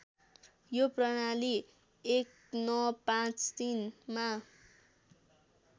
यो प्रणाली १९५३ मा